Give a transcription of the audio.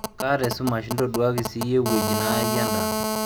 kaata esumash intoduaki siyie ewueji nayayie endaa